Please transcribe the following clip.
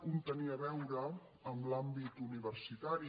un tenia a veure amb l’àmbit universitari